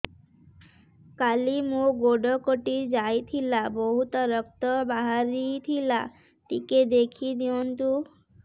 କାଲି ମୋ ଗୋଡ଼ କଟି ଯାଇଥିଲା ବହୁତ ରକ୍ତ ବାହାରି ଥିଲା ଟିକେ ଦେଖି ଦିଅନ୍ତୁ